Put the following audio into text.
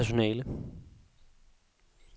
personale